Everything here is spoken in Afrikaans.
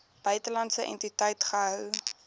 buitelandse entiteit gehou